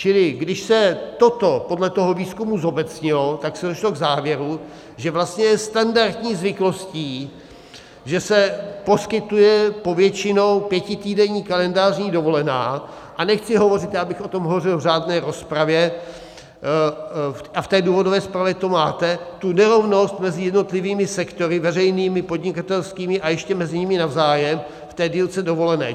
Čili když se toto podle toho výzkumu zobecnilo, tak se došlo k závěru, že vlastně je standardní zvyklostí, že se poskytuje povětšinou pětitýdenní kalendářní dovolená, a nechci hovořit - já bych o tom hovořil v řádné rozpravě a v té důvodové zprávě to máte, tu nerovnost mezi jednotlivými sektory veřejnými, podnikatelskými a ještě mezi nimi navzájem v té délce dovolené.